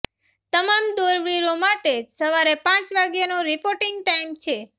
તમામ દોડવીરો માટે સવારે પાંચ વાગ્યાનો રિપોર્ટિંગ ટાઈમ છે